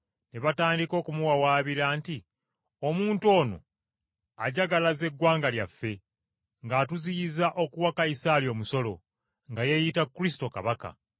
Ne batandika okumuwawaabira nti, “Omuntu ono ajagalaza eggwanga lyaffe, ng’atuziyiza okuwa Kayisaali omusolo, nga yeeyita Kristo, kabaka.”